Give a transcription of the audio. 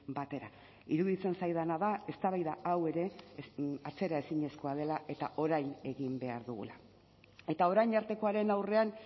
batera iruditzen zaidana da eztabaida hau ere atzeraezinezkoa dela eta orain egin behar dugula eta orain artekoaren aurrean